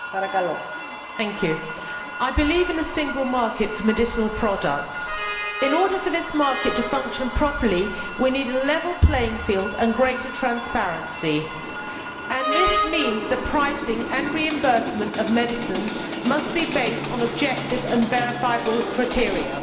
Madam President, I believe in a single market for medicinal products. In order for this market to function properly, we need a level playing field and greater transparency, and this means that pricing and reimbursement of medicines must be based on objective and verifiable criteria.